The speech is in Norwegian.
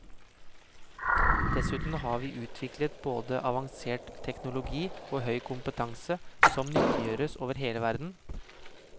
Dessuten har vi utviklet både avansert teknologi og høy kompetanse som nyttiggjøres over hele verden.